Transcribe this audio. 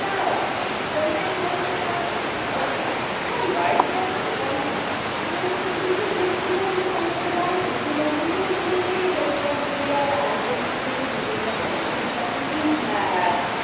না extra time হবে না এ রকম হয় না world cup এ পেনাল্টি প্রথমের দিকে যে রকম ভাবে খেলাটা যাইতেছিল মনে এই হেলিয়া দুলিয়া এই আর্জেন্টিনায় জিতে যাবে ফ্রান্স আর কিছুই হ্যাঁ।